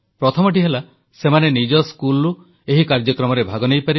ପ୍ରଥମଟି ହେଲା ସେମାନେ ନିଜ ସ୍କୁଲରୁ ଏହି କାର୍ଯ୍ୟକ୍ରମରେ ଭାଗ ନେଇପାରିବେ